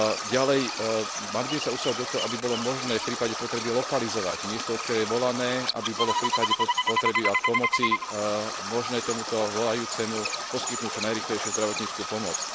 Ďalej, mali by sme sa usilovať o to, aby bolo možné v prípade potreby lokalizovať miesto odkiaľ je volané, aby bolo v prípade potreby pomoci možné tomuto volajúcemu poskytnúť čo najrýchlejšiu zdravotnícku pomoc.